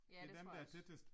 Ja, det tror jeg også